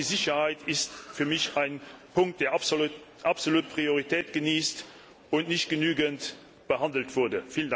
Auch die Sicherheit ist für mich ein Punkt, der absolut Priorität genießt und nicht genügend behandelt wurde.